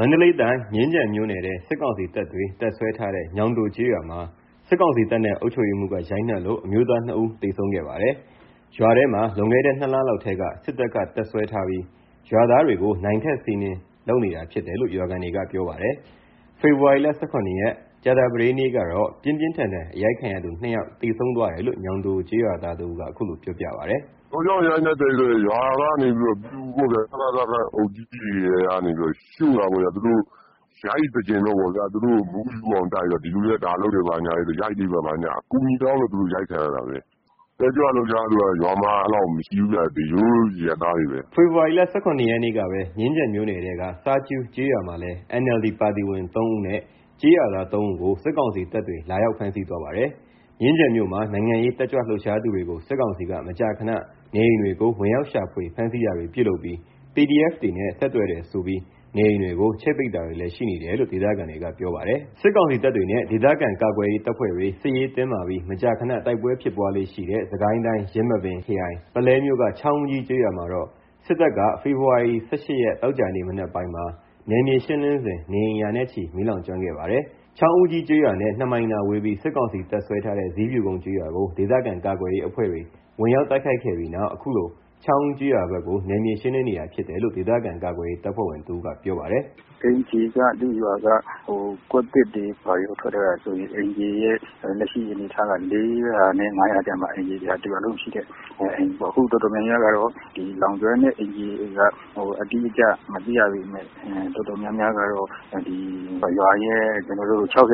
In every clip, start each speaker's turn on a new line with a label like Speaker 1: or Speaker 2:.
Speaker 1: မန္တလေးတိုင်း မြင်းခြံမြို့နယ်ထဲ စစ်ကောင်စီတပ်တွေ တပ်စွဲထားတဲ့ ညောင်တိုကျေးရွာမှာ စစ်ကောင်စီတပ်နဲ့ အုပ်ချုပ်ရေးမှူးက ရိုက်နှက်လို့ အမျိုးသား ၂ ဦး သေဆုံးခဲ့ပါတယ်။ ရွာထဲမှာ လွန်ခဲ့တဲ့ ၂ လလောက်ထဲက စစ်တပ်က တပ်စွဲထားပြီး ရွာသားတွေကို နိုင့်ထက်စီးနင်းလုပ်နေတာဖြစ်တယ်လို့ ရွာခံတွေက ပြောပါတယ်။ ဖေဖော်ဝါရီလ ၁၇ ရက် ကြာသပတေးနေ့ကတော့ ပြင်းပြင်းထန်ထန် အရိုက်ခံရသူ ၂ ယောက်သေဆုံးသွားတယ်လို့ ညောင်တိုကျေးရွာသားတဦးက အခုလိုပြောပြပါတယ်။
Speaker 2: “ ဘယ်လိုကြောင့် ရိုက်လည်းဆိုတော့ စစ်ကောင်စီခန့် အုပ်ကြီးက ရှို့တာပေါ့။ သူတို့ကို ရိုက်စေချင်လို့ ဒီလူတွေက ဒါတွေလုပ်တယ် ရိုက်ပေးပါဆိုပြီး အကူညီတောင်းလို့ အရိုက်ခံရတာပဲ။ တက်ကြွလှုပ်ရှားသူက ရွာမှာအဲ့လောက်မရှိဘူး။ ရိုးရိုးအရပ်သားတွေပဲ။”
Speaker 1: ဖေဖော်ဝါရီ ၁၇ ရက်နေ့ကပဲ မြင်းခြံမြို့နယ်ထဲက စားကြူးကျေးရွာမှာလည်း NLD ပါတီဝင်သုံးဦးနဲ့ ကျေးရွာသား ၃ ဦးကို စစ်ကောင်စီတပ်တွေ လာရောက်ဖမ်းဆီးသွားပါတယ်။ မြင်းခြံမြို့မှာ နိုင်ငံရေး တက်ကြွလှုပ်ရှားသူတွေကို စစ်ကောင်စီက မကြာခဏ နေအိမ်တွေကို ဝင်ရောက်ရှာဖွေ ဖမ်းဆီးတာတွေ ပြုလုပ်ပြီး PDF တွေနဲ့ ဆက်သွယ်တယ်ဆိုပြီး နေအိမ်တွေကို ချိတ်ပိတ်တာတွေလည်း ရှိနေတယ်လို့ ဒေသခံတွေက ပြောပါတယ်။ စစ်ကောင်စီတပ်တွေနဲ့ ဒေသခံကာကွယ်ရေးတပ်ဖွဲ့တွေ စစ်ရေးတင်းမာပြီး မကြာခဏ တိုက်ပွဲဖြစ်ပွားလေ့ရှိတဲ့ စစ်ကိုင်းတိုင်း ယင်းမာပင်ခရိုင် ပုလဲမြို့က ချောင်းဦးကြီးကျေးရွာမှာတော့ စစ်တပ်က ဖေဖော်ဝါရီ ၁၈ ရက် သောကြာနေ့ မနက်ပိုင်းမှာ နယ်မြေရှင်းလင်းစဉ် နေအိမ်ရာနဲ့ချီ မီးလောင်ကျွမ်းခဲ့ပါတယ်။ ချောင်းဦးကြီးကျေးရွာနဲ့ ၂ မိုင်သာဝေးပြီး စစ်ကောင်စီတပ်စွဲထားတဲ့ ဇီးဖြူကုန်းကျေးရွာကို ဒေသခံကာကွယ်ရေးအဖွဲ့တွေ ဝင်ရောက်တိုက်ခိုက်ခဲ့ပြီးနောက် အခုလို ချောင်းဦးကျေးရွာဘက်ကို နယ်မြေရှင်းလင်းနေတာဖြစ်တယ်လို့ ဒေသခံ ကာကွယ်ရေး တပ်ဖွဲ့ဝင်တဦးက ပြောပါတယ်။ “ အိမ်
Speaker 3: ခြေက ကွက်သစ်တွေဘာတွေ ထွက်ထားတာဆိုရင် အိမ်ခြေက လက်ရှိ ၄ဝဝ နဲ့ ၅ဝဝ ကြားမှာရှိတယ်။ အခု တော်တော်များများ လောင်ကျွမ်းတဲ့ အိမ်တွေက အတိအကျမသိရပေမယ့် ရွာရဲ့ ၆ဝ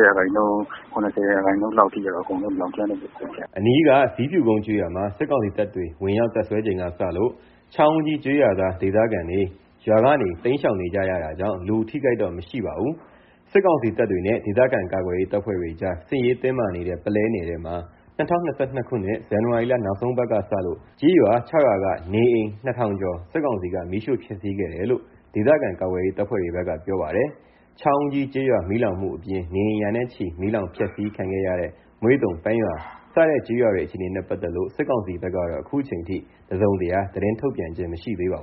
Speaker 3: ရာခိုင်နှုန်း ၇ဝ ရာခိုင်နှုန်း လောက်လောင်ကျွမ်းနေတယ်။
Speaker 1: ” အနီးက ဇီးဖြူကုန်းကျေးရွာမှာ စစ်ကောင်စီတပ်တွေ ဝင်ရောက် တပ်စွဲချိန်ကစလို့ ချောင်းဦးကြီး ကျေးရွာသား ဒေသခံတွေ ရွာကနေ တိမ်းရှောင်နေကြတာကြောင့် လူအထိအခိုက်တော့ မရှိပါဘူး။ စစ်ကောင်စီတပ်တွေနဲ့ ဒေသခံကာကွယ်ရေး တပ်ဖွဲ့တွေကြား စစ်ရေးတင်းမာနေတဲ့ ပုလဲနယ်ထဲမှာ ၂ဝ၂၂ ခုနှစ် ဇန်နဝါရီလ နောက်ဆုံးအပတ်ကစလို့ ကျေးရွာ ၆ ရွာ က နေအိမ် ၂ ထောင်ကျော် ကို စစ်ကောင်စီက မီးရှို့ဖျက်ဆီးခဲ့တယ်လို့ ဒေသခံကာကွယ်ရေး တပ်ဖွဲ့တွေ ဘက်ကပြောပါတယ်။ ချောင်းဦးကြီး ကျေးရွာမီးလောင်မှုအပြင် နေအိမ်ရာနဲ့ချီမီးလောင်ဖျက်ဆီးခံခဲ့ရဲ့ မွေ့တုံ ၊ ပန်း ရွာ စတဲ့ ကျေးရွာအခြေအနေနဲ့ ပတ်သက်လို့ စစ်ကောင်စီဘက်ကတော့ အခုချိန်ထိ တစုံတရာ သတင်းထုတ်ပြန်ခြင်း မရှိသေးပါဘူး